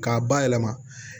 K'a bayɛlɛma